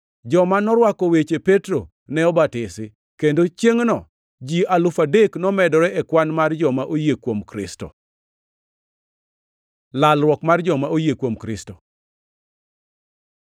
Joma norwako weche Petro ne obatisi, kendo chiengʼno ji alufu adek nomedore e kwan mar joma oyie kuom Kristo. Lalruok mar joma oyie kuom Kristo